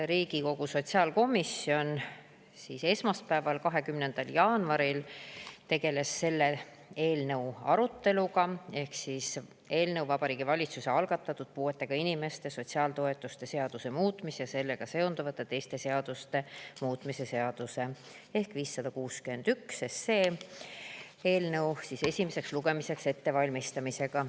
Riigikogu sotsiaalkomisjon tegeles esmaspäeval, 20. jaanuaril selle eelnõu aruteluga, Vabariigi Valitsuse algatatud puuetega inimeste sotsiaaltoetuste seaduse muutmise ja sellega seonduvalt teiste seaduste muutmise seaduse eelnõu 561 esimeseks lugemiseks ettevalmistamisega.